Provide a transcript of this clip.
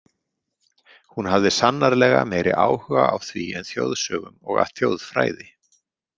Hún hafði sannarlega meiri áhuga á því en þjóðsögum og þjóðfræði.